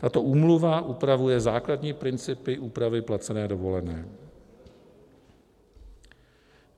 Tato úmluva upravuje základní principy úpravy placené dovolené.